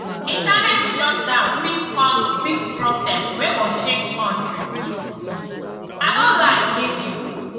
internet shutdown fit cause big protest wey go shake country. i no lie give you